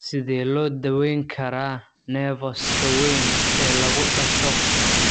Sidee loo daweyn karaa nevus-ka weyn ee lagu dhasho?